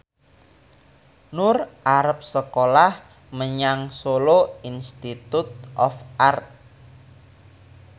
Nur arep sekolah menyang Solo Institute of Art